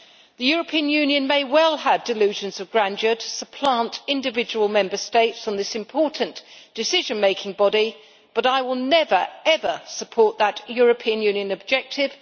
The European Union may well have delusions of grandeur to supplant individual Member States on this important decision making body, but I will never ever support that European Union objective.